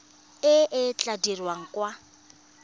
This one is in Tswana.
e e tla dirwang kwa